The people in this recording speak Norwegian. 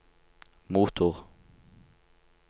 motor